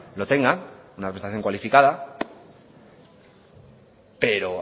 no tenga una representación cualificada pero